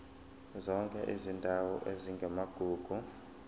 zonke izindawo ezingamagugu